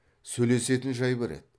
сөйлесетін жай бар еді